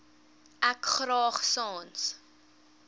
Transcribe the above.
ek graag sans